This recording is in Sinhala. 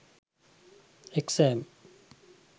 exam